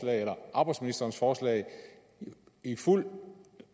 arbejdsministerens forslag i fuld